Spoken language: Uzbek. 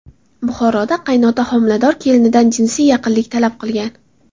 Buxoroda qaynota homilador kelinidan jinsiy yaqinlik talab qilgan.